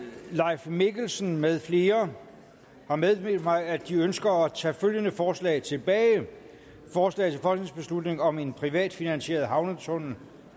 leif mikkelsen med flere har meddelt mig at de ønsker at tage følgende forslag tilbage forslag til folketingsbeslutning om en privatfinansieret havnetunnel